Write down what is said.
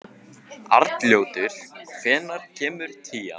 Arnljótur, hvenær kemur tían?